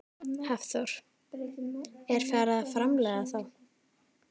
Hafþór: Er farið að framleiða þá?